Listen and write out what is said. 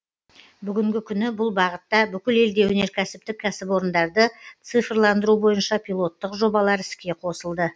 бүгінгі күні бұл бағытта бүкіл елде өнеркәсіптік кәсіпорындарды цифрландыру бойынша пилоттық жобалар іске қосылды